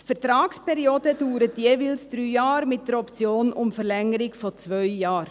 Die Vertragsperiode dauert jeweils drei Jahre, mit der Option um Verlängerung um zwei Jahre.